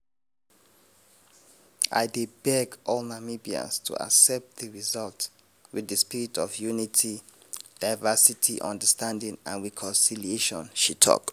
"i dey beg all namibians to accept di results wit di spirit of unity diversity understanding and reconciliation" she tok.